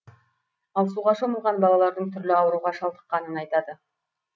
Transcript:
ал суға шомылған балалардың түрлі ауруға шалдыққанын айтады